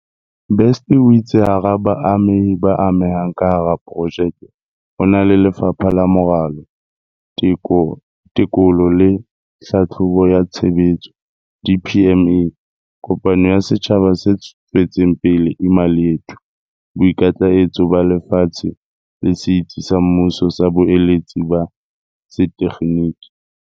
Best o itse hara baamehi ba amehang ka hara projeke ho na le Lefapha la Moralo, Teko lo le Tlhahlobo ya Tshebetso, DPME, kopano ya setjhaba se tswetseng pele Imali Yethu, Boikitlaetso ba Lefatshe le Setsi sa Mmuso sa Boeletsi ba Setekgeniki.